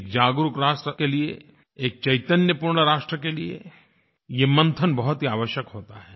एक जागरूक राष्ट्र के लिए एक चैतन्य पूर्ण राष्ट्र के लिए ये मंथन बहुत ही आवश्यक होता है